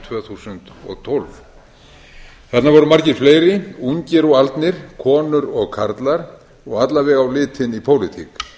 tvö þúsund og tólf þarna voru margir fleiri ungir og aldnir konur og karlar og alla vega á litinn í pólitík